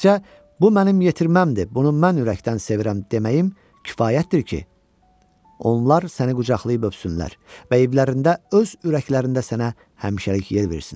Təkcə bu mənim yetirməmdir, bunu mən ürəkdən sevirəm deməyim kifayətdir ki, onlar səni qucaqlayıb öpsünlər və evlərində, öz ürəklərində sənə həmişəlik yer versinlər.